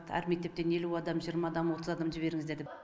әр мектептен елу адам жиырма адам отыз адам жіберіңіздер деп